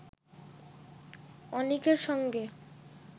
অনিকের সঙ্গে